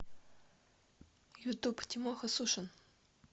ютуб тимоха сушин